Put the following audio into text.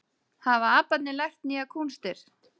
Hafa aparnir lært nýjar kúnstir